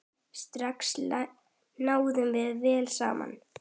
Strax náðum við vel saman.